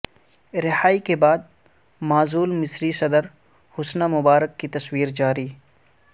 رہائی کے بعدمعزول مصری صدر حسنی مبارک کی تصویر جاری